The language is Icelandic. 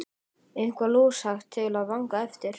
Eitthvað lúshægt til að vanga eftir!